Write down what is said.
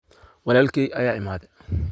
Walalkey aya iimade.